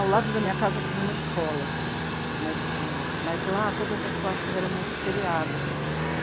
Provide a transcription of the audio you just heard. Ao lado da minha casa tinha uma escola, mas é... mas, lá todas as classes eram multisseriadas.